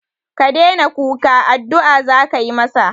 Ka daina kuka, addu'a za ka yi masa